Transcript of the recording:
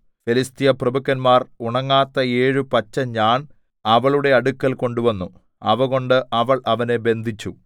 ഫെലിസ്ത്യ പ്രഭുക്കന്മാർ ഉണങ്ങാത്ത ഏഴു പച്ച ഞാൺ അവളുടെ അടുക്കൽ കൊണ്ടുവന്നു അവകൊണ്ടു അവൾ അവനെ ബന്ധിച്ചു